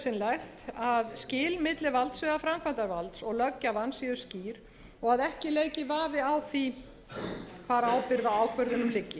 nefndin nauðsynlegt að skil milli valdsviða framkvæmdarvalds og löggjafans séu skýr og að ekki leiki vafi á því hvar ábyrgð á ákvörðunum liggi